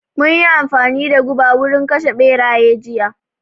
Mun yi amfani da guba wurin kashe ɓeraye jiya